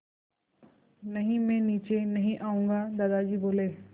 नहीं मैं नीचे नहीं आऊँगा दादाजी बोले